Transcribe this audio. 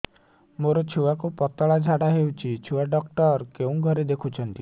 ମୋର ଛୁଆକୁ ପତଳା ଝାଡ଼ା ହେଉଛି ଛୁଆ ଡକ୍ଟର କେଉଁ ଘରେ ଦେଖୁଛନ୍ତି